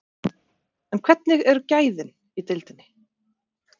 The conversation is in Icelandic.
En hvernig eru gæðin í deildinni?